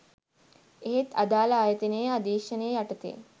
එහෙත් අදාළ ආයතනයේ අධීක්ෂණය යටතේ